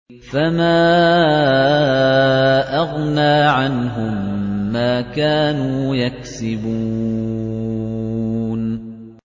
فَمَا أَغْنَىٰ عَنْهُم مَّا كَانُوا يَكْسِبُونَ